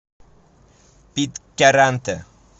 питкяранте